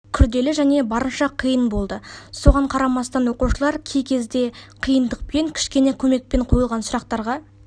күрделі және барынша қиын болды соған қарамастан оқушылар кей кезде қиындықпен кішкене көмекпен қойылған сұрақтарға